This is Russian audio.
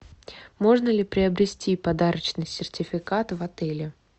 можно ли приобрести подарочный сертификат в отеле